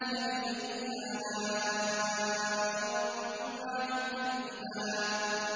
فَبِأَيِّ آلَاءِ رَبِّكُمَا تُكَذِّبَانِ